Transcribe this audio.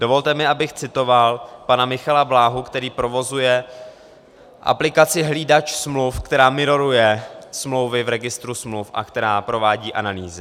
Dovolte mi, abych citoval pana Michala Bláhu, který provozuje aplikaci Hlídač smluv, která miroruje smlouvy v registru smluv a která provádí analýzy.